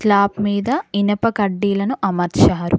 Top మీద ఇనుప కడ్డీలను అమర్చారు.